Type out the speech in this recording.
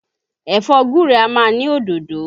Ẹ̀fọ́ gúre a máa ní òdòdó